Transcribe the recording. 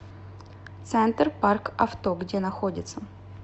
центр парк авто где находится